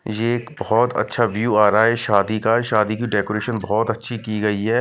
यह बहुत अच्छा व्यू आ रहा है शादी का। शादी की डेकोरेशन बहोत अच्छी की गई है।